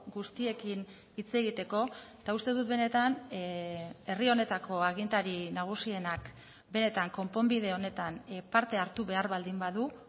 guztiekin hitz egiteko eta uste dut benetan herri honetako agintari nagusienak benetan konponbide honetan parte hartu behar baldin badu